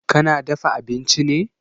Kina dafa abinchi ne?